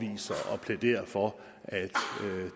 plæderer for at